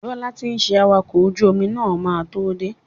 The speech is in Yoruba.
Bọ́lá ti ń ṣe awakọ̀ ojú omi máa tó dé.